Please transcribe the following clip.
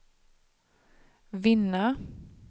vinna